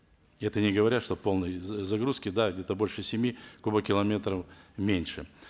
это не говоря что полная загрузка да где то больше семи кубокилометров меньше